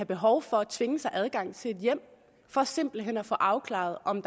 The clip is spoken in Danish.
behov for at tvinge sig adgang til et hjem for simpelt hen at få afklaret om